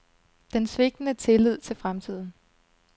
Den svigtende tillid til fremtiden.